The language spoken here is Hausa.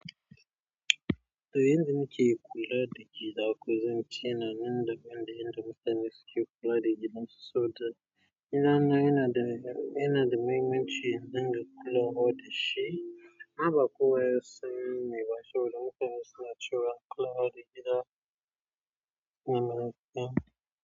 To yanda muke kula da gida ko zence nan, yanda muke kula da gida soboda gida na yana da, yana da mahimmanci idinga kulawa da shi. Abba kuwa ya sani ba saboda mutane suna cewa kulawa da gida nan.